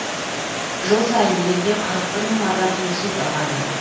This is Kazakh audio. жыл сайын елде қырық бір мың адам инсульт алады